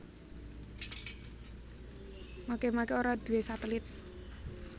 Makemake ora duwé satelit